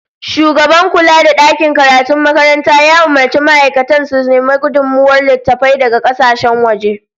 Shugaban kula da dakin karatun makaranta ya umurci ma'aikatan sa su nemo gudummawar littattafai daga kasashen waje